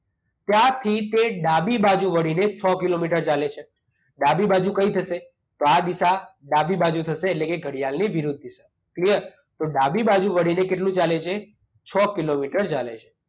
ત્યાંથી તે ડાબી બાજુ વળીને છ કિલોમીટર ચાલે છે. ડાબી બાજુ કઈ થશે? તો આ દિશા ડાબી બાજુ થશે એટલે કે ઘડિયાળની વિરુદ્ધ દિશા. ક્લીયર? તો ડાબી બાજુ વળીને કેટલું ચાલે છે? છ કિલોમીટર ચાલે છે.